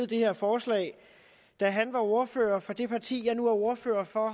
det her forslag da han var ordfører for det parti jeg er ordfører for